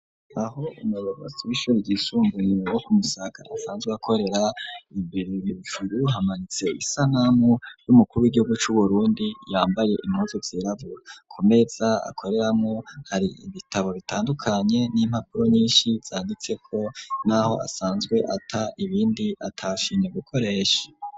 Aho umuyobozi w'ishuri ryisumbuye wo ku musaga asanzwe akorera hejuru hamanitse isanamu y'umukuru wigihugu c' uburundi, yambaye impuzu zirabura, kumeza akoreramwo hari ibitabo bitandukanye n'impapuro nyinshi zanditse ko, n'aho asanzwe ata ibindi atashimye gukoresha.